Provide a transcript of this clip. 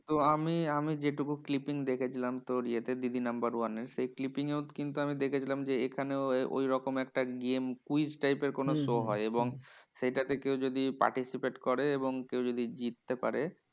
তো আমি আমি যেটুকু clipping দেখছিলাম তোর ইয়েতে দিদি নাম্বার ওয়ানে। সেই clipping এও কিন্তু আমি দেখেছিলাম যে, এখানেও ওইরকম একটা game quiz type এর কোনো show হয়। এবং সেটা তে কেউ যদি participate করে এবং কেউ যদি জিততে পারে,